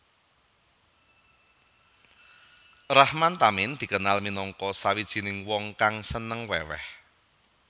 Rahman Tamin dikenal minangka sawijining wong kang seneng weweh